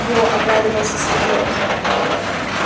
во обрадовался сергей